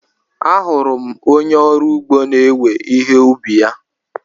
Ahụrụ m onye ọrụ ugbo na-ewe ihe ubi ya.